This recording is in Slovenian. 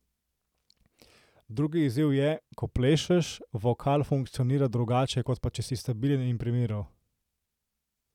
Drugi izziv je, ko plešeš, vokal funkcionira drugače kot pa če si stabilen in pri miru.